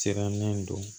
Siran min do